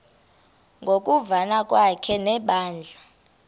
ngokuvana kwakhe nebandla